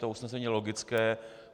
To usnesení je logické.